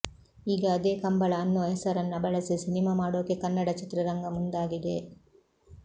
ಈಗ ಅದೇ ಕಂಬಳ ಅನ್ನೋ ಹೆಸರನ್ನ ಬಳಸಿ ಸಿನಿಮಾ ಮಾಡೋಕೆ ಕನ್ನಡ ಚಿತ್ರರಂಗ ಮುಂದಾಗಿದೆ